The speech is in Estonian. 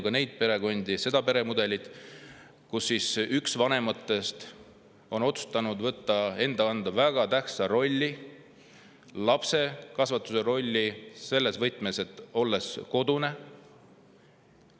… ka neid perekondi, seda peremudelit, kus üks vanematest on otsustanud võtta enda kanda väga tähtsa rolli, lapse kasvatamise rolli, olles kodune.